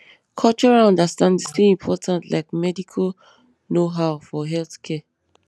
cultural understanding still important like medical knowhow for health care